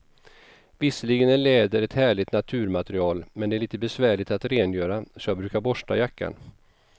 Visserligen är läder ett härligt naturmaterial, men det är lite besvärligt att rengöra, så jag brukar borsta jackan.